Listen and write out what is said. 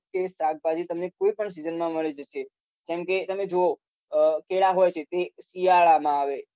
કે શાકભાજી તમને કોઈપણ season માં મળી જશે કેમ કે તમે જોવો અમ કેળા હોય છે તે શિયાળામાં આવે